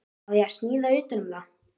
Á ég að smíða utan um það?